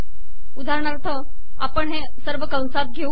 उदाहरणाथर आपण हे सवर कसात घेऊ